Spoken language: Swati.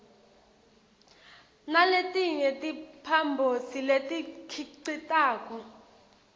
naletinye timphambosi letikhicitako